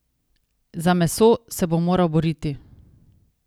Za meso se bo moral boriti.